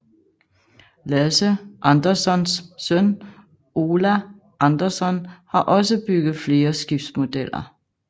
Lasse Anderssons søn Ola Andersson har også byget flere skibsmodeller